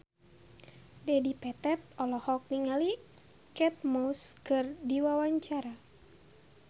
Dedi Petet olohok ningali Kate Moss keur diwawancara